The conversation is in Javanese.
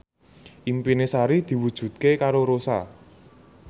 impine Sari diwujudke karo Rossa